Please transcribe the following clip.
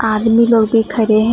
आदमी लोग भी खड़े हैं।